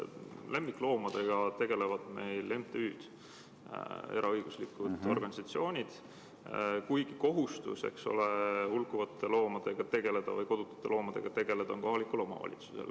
Lemmikloomadega tegelevad meil MTÜ-d, eraõiguslikud organisatsioonid, kuigi kohustus hulkuvate või kodutute loomadega tegelda on kohalikul omavalitsusel.